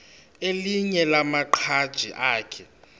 elinye lamaqhaji akhe